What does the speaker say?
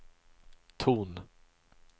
ton